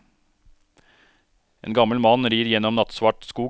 En gammel mann rir gjennom nattsvart skog.